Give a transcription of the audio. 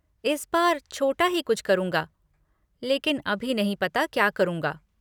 इस बार छोटा ही कुछ करूँगा, लेकिन अभी नहीं पता क्या करूंगा।